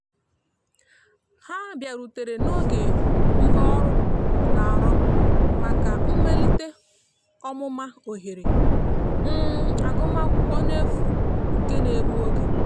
ha biarutere n'oge mgbaọrụ n'arọ maka mmelite ọmụma ohere um agụma akwụkwo n'efu nke na egbụ oge.